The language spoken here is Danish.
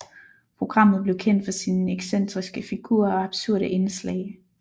Programmet blev kendt for sine excentriske figurer og absurde indslag